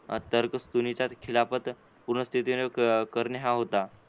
खिलाफत पूर्ण स्थितीने करणे हा होता.